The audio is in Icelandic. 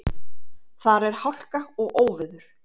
Þar er hálka og óveður.